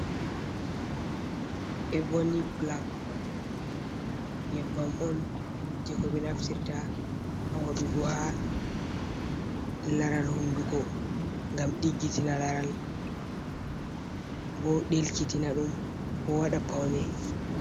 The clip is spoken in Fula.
Eboni black nyebbam on je ko ɓe naftirta ha waɗugo ha laral hondugo, gam diggitina laral bo delkitina ɗum bo wada pawne.